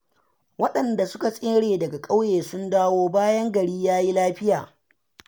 waɗanda suka tsere daga ƙauyen sun dawo, bayan gari ya yi lafiya.